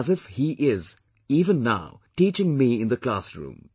It is as if he is, even now, teaching me in the class room